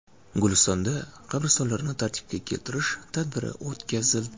Gulistonda qabristonlarni tartibga keltirish tadbiri o‘tkazildi.